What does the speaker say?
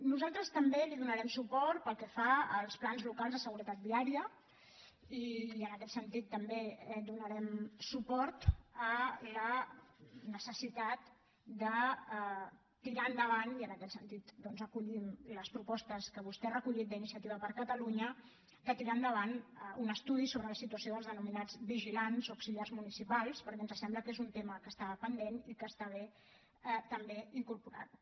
nosaltres també li donarem suport pel que fa als plans locals de seguretat viària i en aquest sentit també donarem suport a la necessitat de tirar endavant i en aquest sentit doncs acollim les propostes que vostè ha recollit d’iniciativa per catalunya un estudi sobre la situació dels denominats vigilants o auxiliars municipals perquè ens sembla que és un tema que està pendent i que està bé també incorporar ho